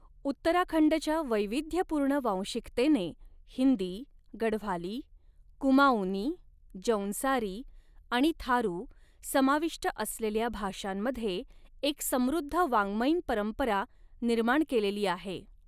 उत्तराखंडच्या वैविध्यपूर्ण वांशिकतेने हिंदी, गढवाली, कुमाउनी, जौनसारी आणि थारू समाविष्ट असलेल्या भाषांमध्ये एक समृद्ध वाङ्मयीन परंपरा निर्माण केलेली आहे.